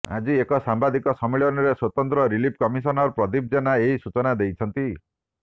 ଆଜି ଏକ ସାମ୍ବାଦିକ ସମ୍ମିଳନୀରେ ସ୍ୱତନ୍ତ୍ର ରିଲିଫ୍ କମିଶନର ପ୍ରଦୀପ ଜେନା ଏହି ସୂଚନା ଦେଇଛନ୍ତି